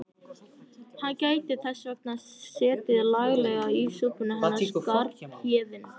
Hann gæti þess vegna setið laglega í súpunni hann Skarphéðinn.